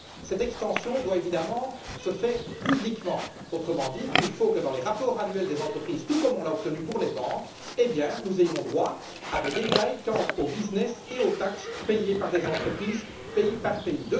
Cette extension doit évidemment se faire publiquement, autrement dit, il faut que, dans les rapports annuels des entreprises, tout comme nous l'avons obtenu pour les banques, nous ayons droit à des détails quant à l'activité et aux taxes payées par les entreprises, pays par pays.